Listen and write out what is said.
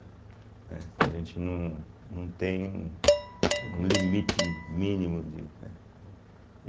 Né, que a gente num não tem um limite mínimo de, né.